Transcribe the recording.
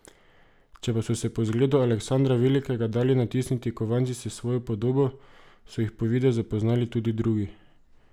Če pa so si po zgledu Aleksandra Velikega dali natisniti kovance s svojo podobo, so jih po videzu poznali tudi drugi.